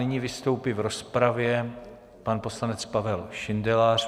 Nyní vystoupí v rozpravě pan poslanec Pavel Šindelář.